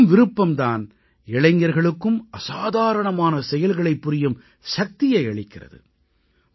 இந்த பெரும்விருப்பம் தான் பல இளைஞர்களுக்கும் அசாதாரணமான செயல்களைப் புரியும் சக்தியை அளிக்கிறது